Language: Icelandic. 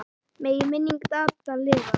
Megi minning Dadda lifa.